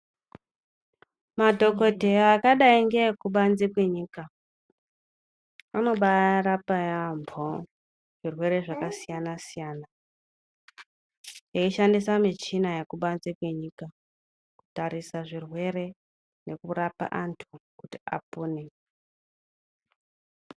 Madhokodheya akadai ngeekubanze kwenyika anobaarapa yaambo zvirwere zvakasiyana-siyana, eishandisa michina yekubanze kwenyika kutarisa zvirwere nekurapa antu kuti apone.